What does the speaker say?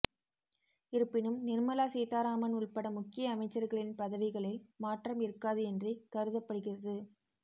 இருப்பினும் நிர்மலா சீதாராமன் உள்பட முக்கிய அமைச்சர்களின் பதவிகளில் மாற்றம் இருக்காது என்றே கருதப்படுகிறது